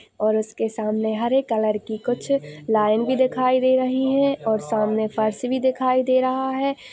और उसके सामने हरे कलर की कुछ लाइन भी दिखाई दे रही हैं सामने फर्श भी दिखाई दे रहा हैं।